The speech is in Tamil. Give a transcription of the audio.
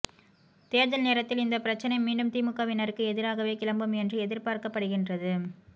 தேர்தல் நேரத்தில் இந்த பிரச்சனை மீண்டும் திமுகவினருக்கு எதிராகவே கிளம்பும் என்று எதிர்பார்க்கப் படுகின்றது